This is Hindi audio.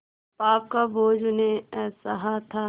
पाप का बोझ उन्हें असह्य था